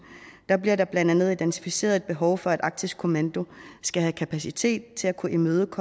bliver der blandt andet identificeret et behov for at arktisk kommando skal have kapacitet til at kunne imødegå